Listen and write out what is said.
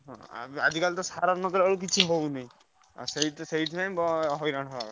ହଁ ଆଜିକାଲି ତ ସାର ନ ଦେଲାବେଳକୁ କିଛି ହଉନାହିଁ ସେଇଥିରେ ସେଇଥିପାଇଁ ହଇରାଣ ହବ କଥା।